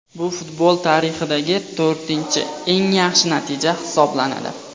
Bu futbol tarixidagi to‘rtinchi eng yaxshi natija hisoblanadi.